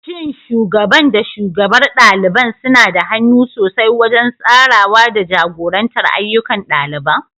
Shin Shugaban da shugabar ɗaliban suna da hannu sosai wajen tsarawa da jagorantar ayyukan ɗaliban?